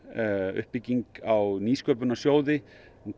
uppbygging á nýsköpunarsjóði